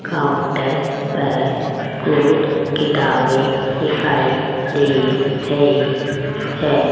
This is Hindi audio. काउंटर पर कुछ किताबें दिखाई दे रही है।